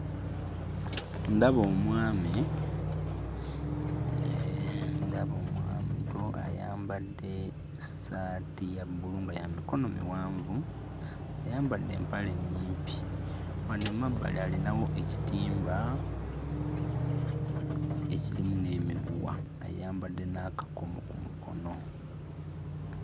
Ndaba omwami ee ndaba omuntu ayambadde essaati ya bbulu nga ya mikono miwanvu, ayambadde empale ennyimpi. Wano emabbali alinawo ekitimba ekirimu n'emiguwa, ayambadde n'akakomo ku mukono.